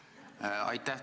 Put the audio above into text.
Aitäh!